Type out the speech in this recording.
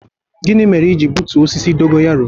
gini mere i ji gbutuo osisi dogo yaro?